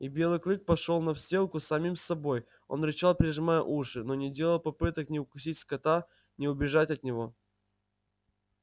и белый клык пошёл на сделку с самим собой он рычал прижимал уши но не делал попыток ни укусить скотта ни убежать от него